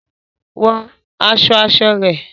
Wọ aṣọ aṣọ rẹ